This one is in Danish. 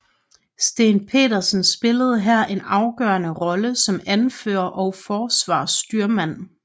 Steen Petersen spillede her en afgørende rolle som anfører og forsvarsstyrmand